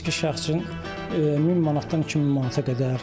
Fiziki şəxs üçün 1000 manatdan 2000 manata qədər.